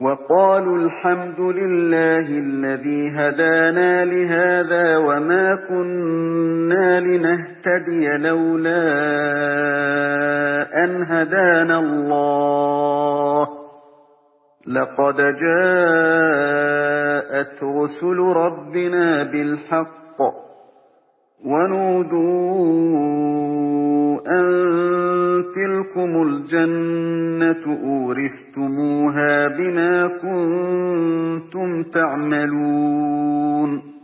وَقَالُوا الْحَمْدُ لِلَّهِ الَّذِي هَدَانَا لِهَٰذَا وَمَا كُنَّا لِنَهْتَدِيَ لَوْلَا أَنْ هَدَانَا اللَّهُ ۖ لَقَدْ جَاءَتْ رُسُلُ رَبِّنَا بِالْحَقِّ ۖ وَنُودُوا أَن تِلْكُمُ الْجَنَّةُ أُورِثْتُمُوهَا بِمَا كُنتُمْ تَعْمَلُونَ